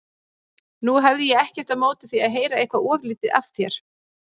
Nú hefði ég ekkert á móti því að heyra eitthvað ofurlítið af þér.